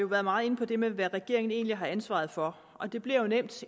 været meget inde på det med hvad regeringen egentlig har ansvaret for og det bliver jo nemt